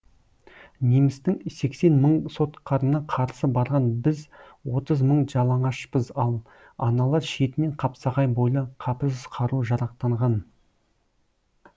немістің сексен мың соткарына қарсы барған біз отыз мың жалаңашпыз ал аналар шетінен қапсағай бойлы қапысыз қару жарақтанған